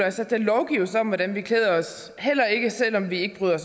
os at der lovgives om hvordan vi klæder os heller ikke selv om vi ikke bryder